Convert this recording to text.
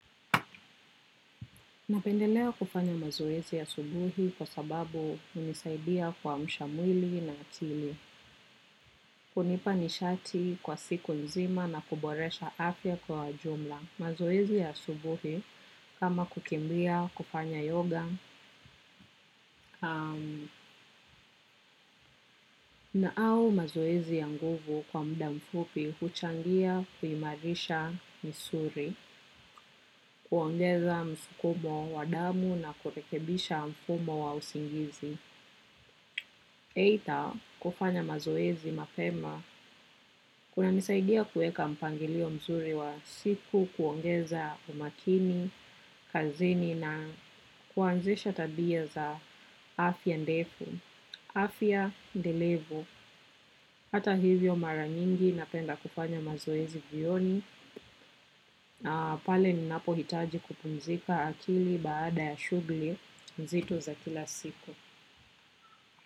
Napendelea kufanya mazoezi asubuhi kwa sababu hunisaidia kuamsha mwili na akili. Hunipa nishati kwa siku nzima na kuboresha afya kwa jumla. Mazoezi ya asubuhi kama kukimbia kufanya yoga na au mazoezi ya nguvu kwa muda mfupi huchangia kuimarisha misuri, kuongeza msukumo wa damu na kurekebisha mfumo wa usingizi. Aidha kufanya mazoezi mapema kuna nisaidia kuweka mpangilio mzuri wa siku kuongeza umakini, kazini na kuanzisha tabia za afya ndefu, afya ndelevub. Hata hivyo mara nyingi napenda kufanya mazoezi jioni na pale ninapo hitaji kupumzika akili baada ya shughuli mzito za kila siku.